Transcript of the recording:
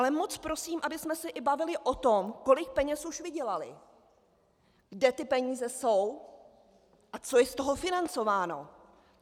Ale moc prosím, abychom se bavili o tom, kolik peněz už vydělali, kde ty peníze jsou a co je z toho financováno.